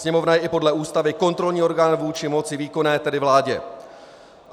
Sněmovna je i podle Ústavy kontrolní orgán vůči moci výkonné, tedy vládě.